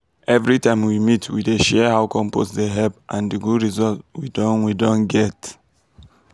every time we meet we dey share how compost dey help and di good results we don we don get.